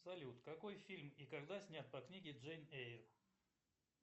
салют какой фильм и когда снят по книге джейн эйр